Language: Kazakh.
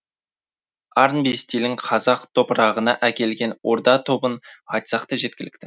арнби стилін қазақ топырағына әкелген орда тобын айтсақ та жеткілікті